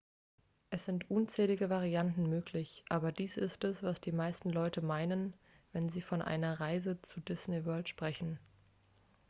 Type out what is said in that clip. "es sind unzählige varianten möglich aber dies ist es was die meisten leute meinen wenn sie von einer "reise zur disney world" sprechen.